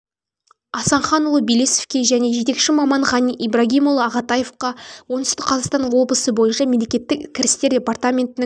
асанханұлы белесовке және жетекші маман ғани ибрагимұлы ағатаевқа оңтүстік қазақстан облысы бойынша мемлекеттік кірістер департаментінің